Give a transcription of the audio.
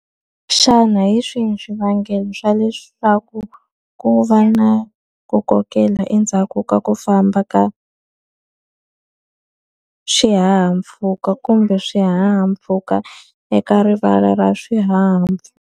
Xana hi swihi swivangelo swa leswaku ku va na ku kokela endzhaku ka ku famba ka xihahampfhuka kumbe swihahampfhuka eka rivala ra .